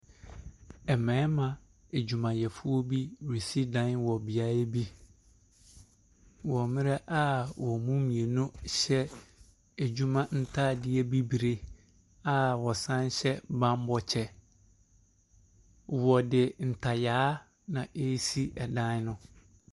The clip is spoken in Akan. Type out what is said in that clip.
Mmarima adwumayɛfoɔ bi resi dan wɔ beaeɛ bi, wɔ mmerɛ a wɔn mu mmienu hyɛ adwuma ntaadeɛ bibire a wɔsan hyɛ bammɔ kyɛ. Wɔde ntayaa na ɛresi dan no.